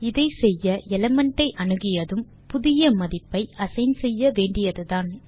இதை செய்ய எலிமெண்ட் ஐ அணுகியதும் புதிய மதிப்பை அசைன் செய்ய வேண்டியதுதான்